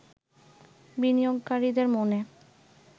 বিনিয়োগকারীদের মনে